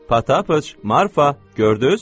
Potapıç, Marfa, gördüz?